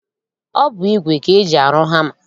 Ọ bụ igwe ka eji arụ hama